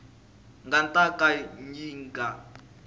nga ta ka yi nga